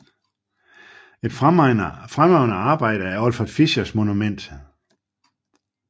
Et fremragende arbejde er Olfert Fischers Monument